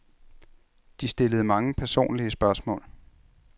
De stillede mange personlige spørgsmål.